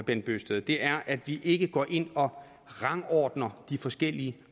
bent bøgsted er at vi ikke går ind og rangordner de forskellige